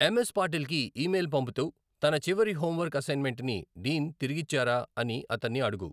ఎమ్ S Patil కి email పంపుతూ తన చివరి హోంవర్క్ అసైన్మెంట్‌ని డీన్ తిరిగిచ్చారా అని అతన్ని అడుగు